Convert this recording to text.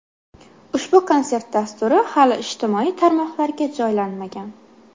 Ushbu konsert dasturi hali ijtimoiy tarmoqlarga joylanmagan.